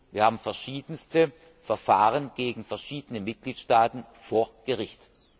Wir haben verschiedenste Verfahren gegen verschiedene Mitgliedstaaten vor Gericht.